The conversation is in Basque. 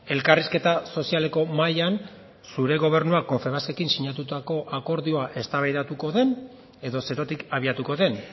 elkarrizketa sozialeko mahaian zure gobernuak confebaskekin sinatutako akordioa eztabaidatuko den edo zerotik abiatuko den